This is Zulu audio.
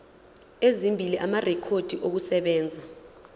ezimbili amarekhodi okusebenza